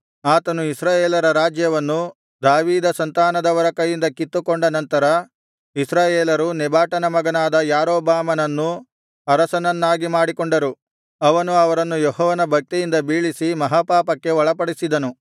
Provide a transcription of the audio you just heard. ಆತನು ಇಸ್ರಾಯೇಲರ ರಾಜ್ಯವನ್ನು ದಾವೀದ ಸಂತಾನದವರ ಕೈಯಿಂದ ಕಿತ್ತುಕೊಂಡ ನಂತರ ಇಸ್ರಾಯೇಲರು ನೆಬಾಟನ ಮಗನಾದ ಯಾರೊಬ್ಬಾಮನನ್ನು ಅರಸನನ್ನಾಗಿ ಮಾಡಿಕೊಂಡರು ಅವನು ಅವರನ್ನು ಯೆಹೋವನ ಭಕ್ತಿಯಿಂದ ಬೀಳಿಸಿ ಮಹಾ ಪಾಪಕ್ಕೆ ಒಳಪಡಿಸಿದನು